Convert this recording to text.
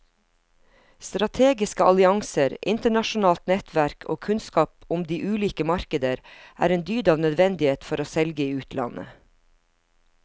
Strategiske allianser, internasjonalt nettverk og kunnskap om de ulike markeder er en dyd av nødvendighet for å selge i utlandet.